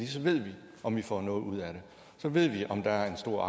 så ved vi om vi får noget ud af det så ved vi om der er stor